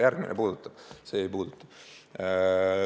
Järgmisena päevakorras olev puudutab, see ei puuduta.